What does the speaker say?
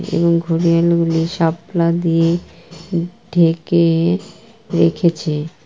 এবং ঘড়িয়াল গুলি শাপলা দিয়ে ঢেকে-এ রেখেছে।